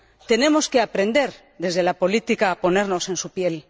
Tenemos que aprender, desde la política, a ponernos en su piel.